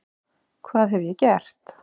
Hvað hef ég gert?